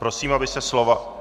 Prosím, aby se slova...